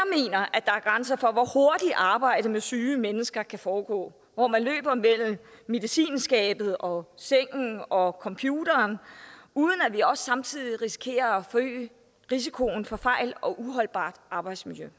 at der er grænser for hvor hurtigt arbejdet med syge mennesker kan foregå hvor man løber mellem medicinskabet og sengen og computeren uden at vi også samtidig risikerer at forøge risikoen for fejl og uholdbart arbejdsmiljø